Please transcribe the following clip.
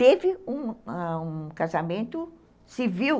Teve um um casamento civil,